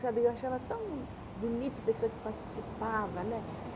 Sabe? Eu achava tão bonito a pessoa que participava, né?